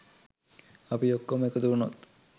අපි ඔක්කොම එකතු උනොත්